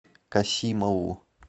касимову